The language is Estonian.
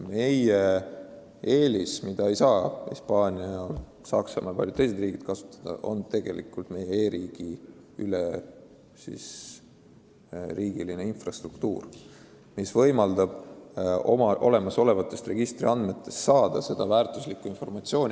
Meie eelis, mida ei saa Hispaania, Saksamaa ja paljud teised riigid kasutada, on üleriigiline e-riigi infrastruktuur, mis võimaldab olemasolevatest registritest vajalikke andmeid saada.